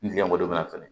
N gɛmɔgɔ de bɛ na fɛnɛ